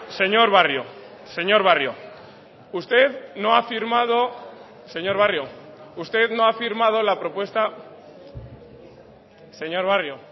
señor barrio señor barrio usted no ha firmado señor barrio usted no ha firmado la propuesta señor barrio